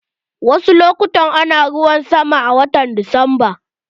Wasu lokutan ana ruwan sama a watan Nuwamba.